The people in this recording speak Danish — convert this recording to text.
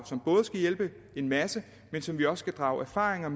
som både skal hjælpe en masse men som vi også skal drage erfaringer